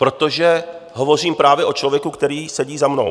Protože hovořím právě o člověku, který sedí za mnou.